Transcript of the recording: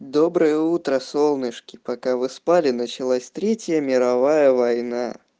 доброе утро солнышки пока вы спали началась третья мировая война